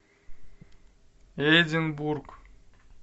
эдинбург